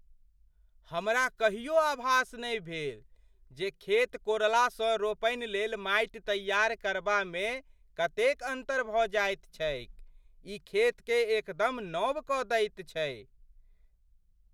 हमरा कहियो आभास नहि भेल जे खेत कोरलासँ रोपनि लेल माटि तैयार करबामे कतेक अन्तर भऽ जायत छैक। ई खेतकेँ एकदम नव कऽ दैत छै!